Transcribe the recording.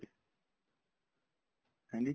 ਹਾਂਜੀ